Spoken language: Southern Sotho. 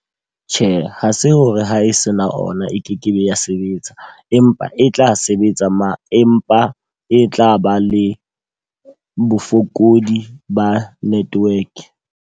Tjhe, ha se hore ha e se na ona e kekebe ya sebetsa. Empa e tla sebetsa mare empa e tla ba le bofokodi ba network.